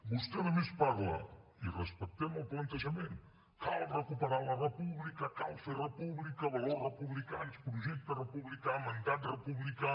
vostè a més parla i respectem el plantejament cal recuperar la república cal fer república valors republicans projecte republicà mandat republicà